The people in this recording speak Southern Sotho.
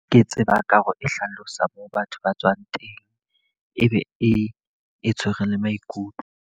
Ke tseba ka hare e hlalosang moo batho ba tswang teng. E be e tshwere le maikutlo.